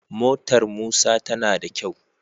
Motar musa tana da kyau